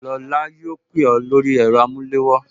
Lola yóò pè ó lórí ẹ̀rọ amulewo